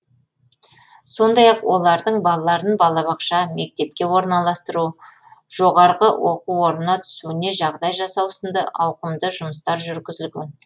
сондай ақ олардың балаларын балабақша мектепке орналастыру жоғыра оқу орнына түсуіне жағдай жасау сынды ауқымды жұмыстар жүргізілген